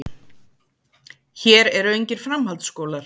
Hér eru engir framhaldsskólar.